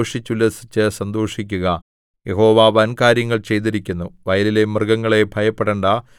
ദേശമേ ഭയപ്പെടേണ്ടാ ഘോഷിച്ചുല്ലസിച്ചു സന്തോഷിക്കുക യഹോവ വൻകാര്യങ്ങൾ ചെയ്തിരിക്കുന്നു